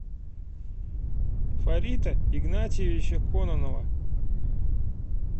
фарита игнатьевича кононова